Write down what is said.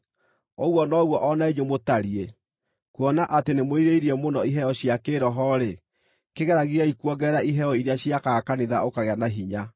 Ũguo noguo o na inyuĩ mũtariĩ. Kuona atĩ nĩmwĩrirĩirie mũno iheo cia kĩĩroho-rĩ, kĩgeragiei kuongerera iheo iria ciakaga kanitha ũkagĩa na hinya.